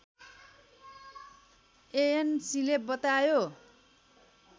एएनसीले बतायो